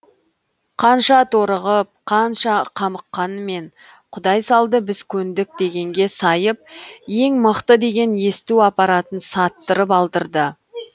қанша торығып қанша қамыққанымен құдай салды біз көндік дегенге сайып ең мықты деген есту аппаратын саттырып алдырды